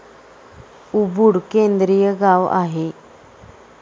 Ubud केंद्रीय गाव आहे.